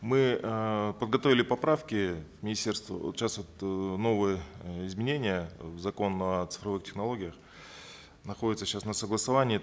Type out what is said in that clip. мы э подготовили поправки министерству сейчас вот э новые э изменения в закон о цифровых технологиях находится сейчас на согласовании